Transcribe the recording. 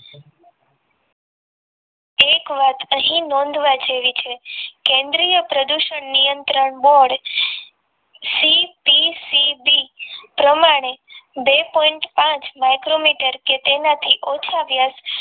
એક વાત અહીં નોંધવા જેવી છે કેન્દ્રીય પ્રદૂષણ નિયંત્રણ bordCPCP પ્રમાણે બે point પાંચ micrometer કે તેનાથી ઓછા વ્યાસ